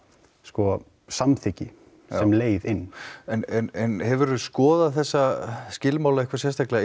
samþykki sem leið inn hefurðu skoðað þessa skilmála eitthvað sérstaklega